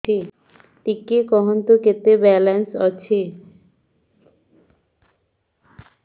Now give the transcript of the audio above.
ଟିକେ କୁହନ୍ତୁ କେତେ ବାଲାନ୍ସ ଅଛି